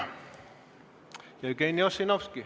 Jevgeni Ossinovski.